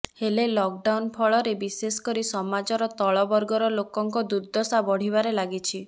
ହେଲେ ଲକ୍ଡାନଉ୍ ଫଳରେ ବିଶେଷ କରି ସମାଜର ତଳବର୍ଗର ଲୋକଙ୍କ ଦୁର୍ଦ୍ଦଶା ବଢିବାରେ ଲାଗିଛି